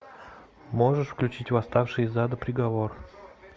можешь включить восставшие из ада приговор